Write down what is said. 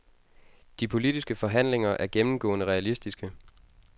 De politiske forhandlinger er gennemgående realistiske.